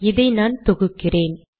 இதை நான் தொகுக்கிறேன்